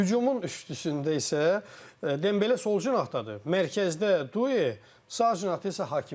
Hücumun üçlüyündə isə Dembele sol cinahdadır, mərkəzdə Due, sağ cinahda isə Hakimi.